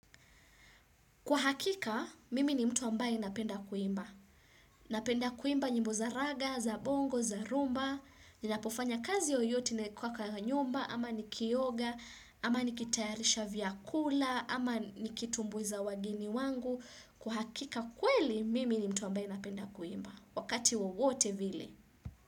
Kwa hakika, mimi ni mtu ambaye napenda kuimba. Napenda kuimba njimbo za raga, za bongo, za rumba, ninapofanya kazi yoyote na kwa nyumba, ama ni kioga, ama ni kitayarisha vyakula, ama ni kitumbuiza wageni wangu. Kwa hakika kweli, mimi ni mtu ambaye napenda kuimba. Wakati wowote vile.